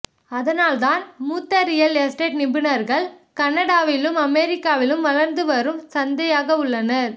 அதனால்தான் மூத்த real estate நிபுணர்கள் கனடாவிலும் அமெரிக்காவிலும் வளர்ந்து வரும் சந்தையாக உள்ளனர்